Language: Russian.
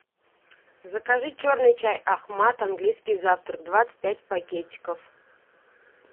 закажи черный чай ахмад английский завтрак двадцать пять пакетиков